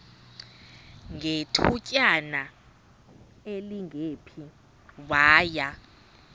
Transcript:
ngethutyana elingephi waya